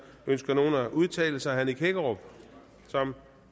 ønsker nogen at udtale sig herre nick hækkerup som